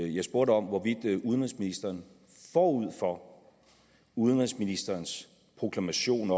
jeg spurgte om hvorvidt udenrigsministeren forud for udenrigsministerens proklamation